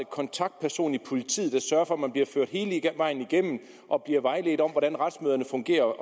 kontaktperson i politiet der sørger for at man bliver ført hele vejen igennem og bliver vejledt om hvordan retsmøderne fungerer